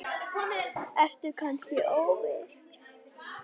Ertu kannski ofvirk?